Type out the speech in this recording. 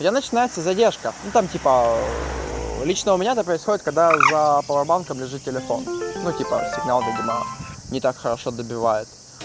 у меня начинается задержка ну там типа лично у меня это происходит когда за пауэр банком лежит телефон ну типа сигнал видимо не так хорошо добивает